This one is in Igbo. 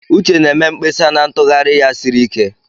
Uche na-eme mkpesa na ntughari ya siri ike.